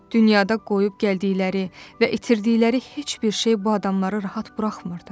Dünyada qoyub gəldikləri və itirdikləri heç bir şey bu adamları rahat buraxmırdı.